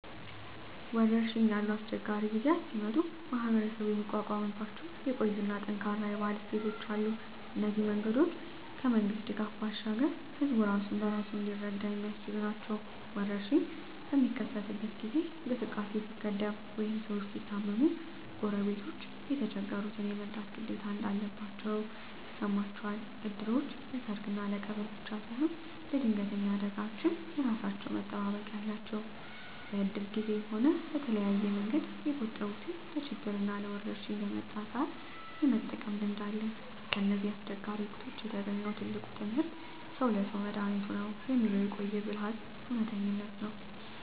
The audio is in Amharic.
ወረርሽኝ ያሉ አስቸጋሪ ጊዜያት ሲመጡ ማኅበረሰቡ የሚቋቋምባቸው የቆዩና ጠንካራ የባህል እሴቶች አሉ። እነዚህ መንገዶች ከመንግሥት ድጋፍ ባሻገር ሕዝቡ ራሱን በራሱ እንዲረዳ የሚያስችሉ ናቸው። ወረርሽኝ በሚከሰትበት ጊዜ እንቅስቃሴ ሲገደብ ወይም ሰዎች ሲታመሙ፣ ጎረቤቶች የተቸገሩትን የመርዳት ግዴታ እንዳለባቸው ይሰማቸዋል። እድሮች ለሰርግና ለቀብር ብቻ ሳይሆን ለድንገተኛ አደጋዎችም የራሳቸው መጠባበቂያ አላቸው። በእድር ጊዜም ሆነ በተለያየ መንገድ የቆጠቡትን ለችግርና ለወረርሽኝ በመጣ ሰአት የመጠቀም ልምድ አለ። ከእነዚህ አስቸጋሪ ወቅቶች የተገኘው ትልቁ ትምህርት "ሰው ለሰው መድኃኒቱ ነው" የሚለው የቆየ ብልሃት እውነተኝነት ነው።